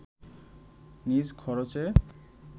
নিজ খরচে